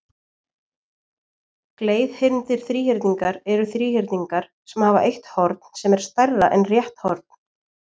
Gleiðhyrndir þríhyrningar eru þríhyrningar sem hafa eitt horn sem er stærra en rétt horn.